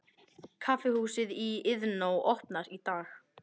Kaffihúsið í Iðnó opnar í dag